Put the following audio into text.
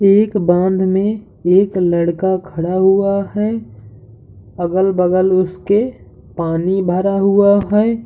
एक बाँध में एक लड़का खड़ा हुआ है अगल-बगल उस के पानी भरा हुआ है।